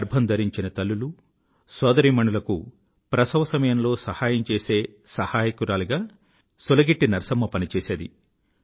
గర్భం ధరించిన తల్లులు సోదరీమణులకు ప్రసవ సమయంలో సహాయం చేసే సహాయకురాలిగా సులగిట్టి నరసమ్మ పనిచేసేది